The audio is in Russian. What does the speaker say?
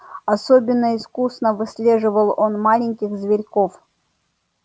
особенно искусно выслеживал он маленьких зверьков